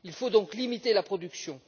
Il faut donc limiter la production.